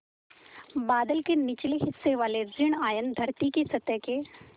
बादल के निचले हिस्से वाले ॠण आयन धरती की सतह के